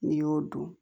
N'i y'o dun